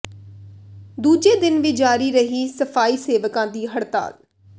ਦੂਜੇ ਦਿਨ ਵੀ ਜਾਰੀ ਰਹੀ ਸਫ਼ਾਈ ਸੇਵਕਾਂ ਦੀ ਹੜਤਾਲ